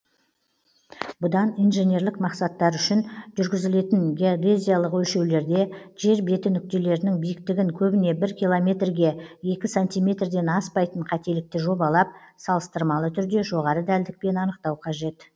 бұдан инженерлік мақсаттар үшін жүргізілетін геодезиялық өлшеулерде жер беті нүктелерінің биіктігін көбіне бір километрге екі сантиметрден аспайтын қателікті жобалап салыстырмалы түрде жоғары дәлдікпен анықтау қажет